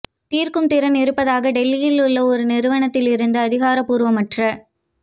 தீர்க்கும் திறன் இருப்பதாக டெல்லியில் உள்ள ஒரு நிறுவனத்தில் இருந்து அதிகாரப்பூர்வமற்ற